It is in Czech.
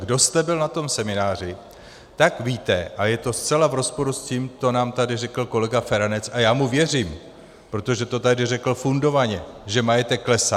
Kdo jste byl na tom semináři, tak víte, a je to zcela v rozporu s tím, co nám tady řekl kolega Feranec, a já mu věřím, protože to tady řekl fundovaně, že majetek klesá.